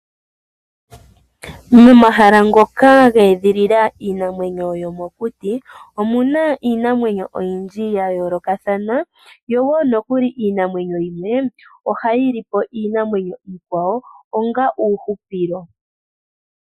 Momahala ngoka ha edhilila iinamwenyo yo mokuti, omuna iinamwenyo oyindji ya yoolokathana, yo wo nokuli iinamwenyo yimwe ohayi lipo iinamwenyo iikwawo onga uuhupilo.